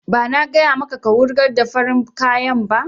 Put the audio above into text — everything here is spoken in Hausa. Ba na gaya maka ka wurgar da farin kayan ba!